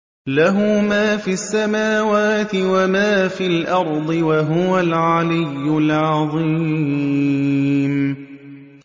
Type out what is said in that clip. لَهُ مَا فِي السَّمَاوَاتِ وَمَا فِي الْأَرْضِ ۖ وَهُوَ الْعَلِيُّ الْعَظِيمُ